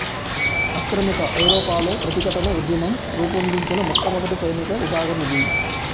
ఆక్రమిత ఐరోపాలో ప్రతిఘటన ఉద్యమం రూపొందించిన మొట్టమొదటి సైనిక విభాగమిది